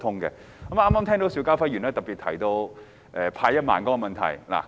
我剛才聽到邵家輝議員特別提到派發1萬元的問題。